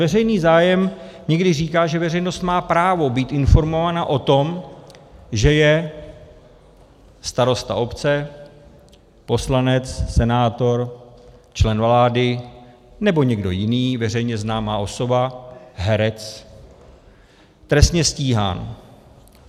Veřejný zájem někdy říká, že veřejnost má právo být informovaná o tom, že je starosta obce, poslanec, senátor, člen vlády nebo někdo jiný, veřejně známá osoba, herec trestně stíhán.